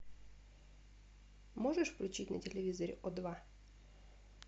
можешь включить на телевизоре о два